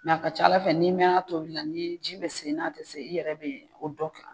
a ka ca ala fɛ ni mɛna a tobili la ni ji be se n'a tɛ se i yɛrɛ be o dɔ